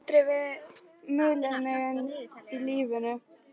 Það hefur aldrei verið mulið undir mig í lífinu.